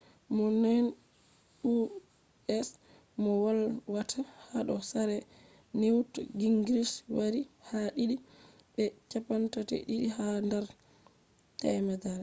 mo nane u.s. moh volwata hado sare newt gingrich wari ha did be 32 ha dar 100